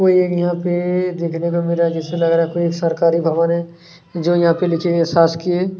कोई एक यहाँ पे देखने को मिल रहा है जिससे लग रहा है कोई सरकारी भवन है जो यहाँ पे लिखे गए शासकीय --